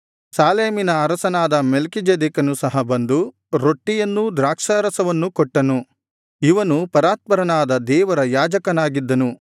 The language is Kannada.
ಸಾಲೇಮಿನ ಅರಸನಾದ ಮೆಲ್ಕೀಚೆದೆಕನು ಸಹ ಬಂದು ರೊಟ್ಟಿಯನ್ನೂ ದ್ರಾಕ್ಷಾರಸವನ್ನೂ ಕೊಟ್ಟನು ಇವನು ಪರಾತ್ಪರನಾದ ದೇವರ ಯಾಜಕನಾಗಿದ್ದನು